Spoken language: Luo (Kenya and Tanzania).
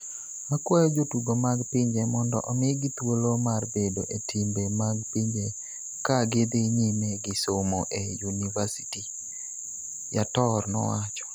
Akwayo jotugo mag pinje mondo omigi thuolo mar bedo e timbe mag pinje ka gidhi nyime gi somo e yunivasiti," Yator nowacho.